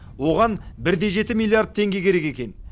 оған бір де жеті миллиард теңге керек екен